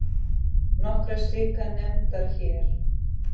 Nokkrar slíkar nefndar hér